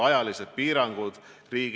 Mihhail Lotman, palun!